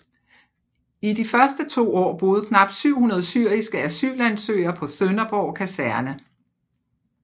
I de første to år boede knap 700 syriske asylansøgere på Sønderborg Kaserne